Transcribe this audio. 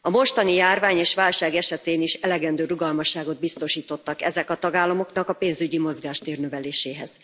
A mostani járvány és válság esetén is elegendő rugalmasságot biztosítottak ezek a tagállamoknak a pénzügyi mozgástér növeléséhez.